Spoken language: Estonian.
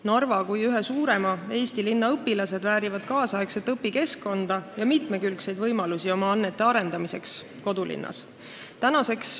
Narva kui ühe suurima Eesti linna õpilased väärivad kaasaegset õpikeskkonda ja mitmekülgseid võimalusi oma annete arendamiseks kodulinnas.